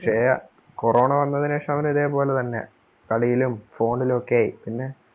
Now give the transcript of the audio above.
പക്ഷേ corona വന്നതിന് ശേഷം അവനും ഇതേപോലെ തന്നെ കളിയിലും phone ലും ഒക്കെ ആയി പിന്നെ